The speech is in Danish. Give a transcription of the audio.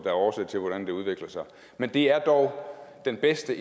er årsag til hvordan det udvikler sig men det er dog den bedste